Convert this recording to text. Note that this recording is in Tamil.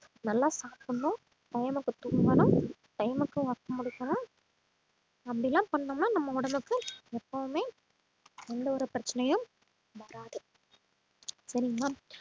நல்லா சாப்பிடணும் time க்கு தூங்கணும் time க்கு work முடிக்கணும் அப்படியெல்லாம் பண்ணோம்னா நம்ம உடம்புக்கு எப்பவுமே எந்த ஒரு பிரச்சனையும் வராது சரிங்களா